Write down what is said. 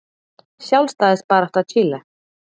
Sjálfstæðisbarátta Chile.